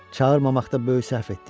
Çağırmamaqda böyük səhv etdik.